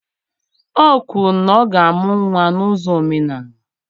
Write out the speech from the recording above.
O kwuru na ọ ga-amụ nwa na uzo omenala